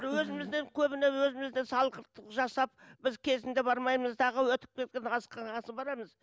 өзімізден көбіне өзімізден салғырттық жасап біз кезінде бармаймыз дағы өтіп кеткен асқынған соң барамыз